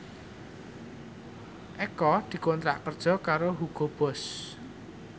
Eko dikontrak kerja karo Hugo Boss